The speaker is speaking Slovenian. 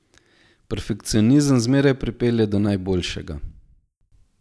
Perfekcionizem zmeraj pripelje do najboljšega.